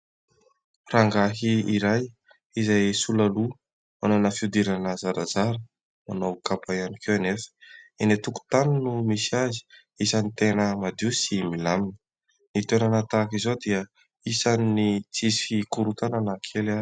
Rangahy iray izay sola loha, manana fihodirana zarazara, manao kapa ihany koa anefa. Eny an-tokontany no misy azy, isan'ny tena madio sy milamina. Ny toerana tahaka izao dia isan'ny tsisy korontana na kely aza.